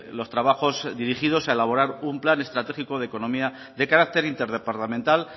los trabajos dirigidos a elaborar un plan estratégico de economía de carácter interdepartamental